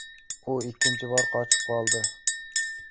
U ikkinchi bor qochib qoldi.